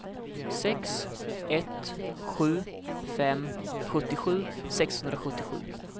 sex ett sju fem sjuttiosju sexhundrasjuttiosju